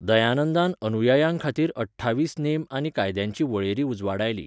दयानंदान अनुयायांखातीर अठ्ठावीस नेम आनी कायद्यांची वळेरी उजवाडायली.